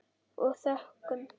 Og þökkum.